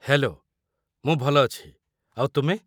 Hello, ମୁଁ ଭଲ ଅଛି, ଆଉ ତୁମେ?